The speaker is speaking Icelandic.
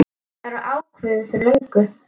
Það var ákveðið fyrir löngu.